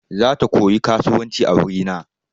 Zata koyi kasuwanci a wuri na.